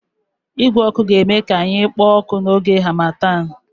Igwe ọkụ ga-eme ka anyị kpoo ọkụ n'oge harmattan